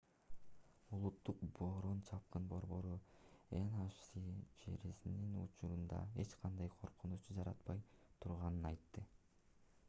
улуттук бороон-чапкын борбору nhc джерринин учурда эч кандай коркунуч жаратпай турганын айтты